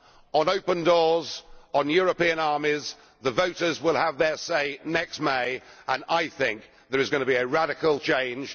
On open doors, on European armies, the voters will have their say next May, and I think there is going to be a radical change.